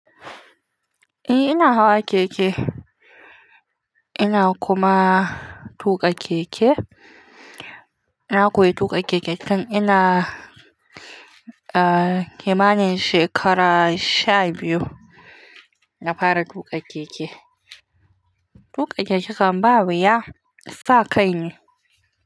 Eh ina hawa keke, ina kuma tuƙa keke. Na koyi tuƙa keke tun ina, ah, kimanin shekara sha biyu, na fara tuƙa keke. Tuƙa keke ƙan ba wuya sa kaine.